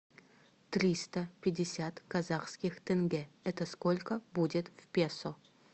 триста пятьдесят казахских тенге это сколько будет в песо